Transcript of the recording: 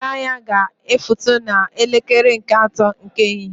Ụgbọala anya ga efutu na elekere nke ato nke ehihie